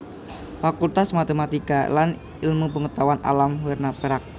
Fakultas Matematika lan Ilmu Pengetahuan Alam werna perak